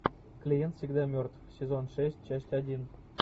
клиент всегда мертв сезон шесть часть один